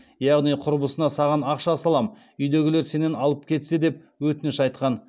яғни құрбысына саған ақша салам үйдегілер сенен алып кетсе деп өтініш айтқан